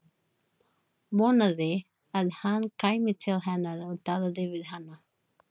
Vonaði að hann kæmi til hennar og talaði við hana.